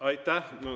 Aitäh!